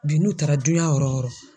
Bi n'u taara duɲa yɔrɔ yɔrɔ